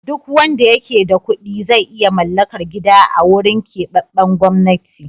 Duk wanda yake da kuɗi zai iya mallakar gida a wurin keɓaɓɓen gwamnati.